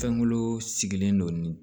Fɛnkolo sigilen don